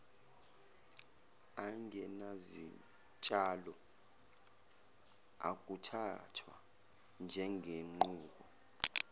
angenazitshalo akuthathwa njengenqubo